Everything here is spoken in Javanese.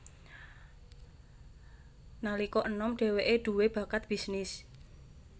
Nalika enom dheweke dhuwe bakat bisnis